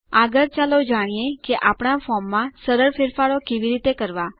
આગળ ચાલો જાણીએ કે આપણા ફોર્મમાં સરળ ફેરફારો કેવી રીતે કરવા